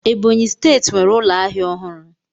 Ebonyi steeti nwere ụlọ ahịa ọhụrụ.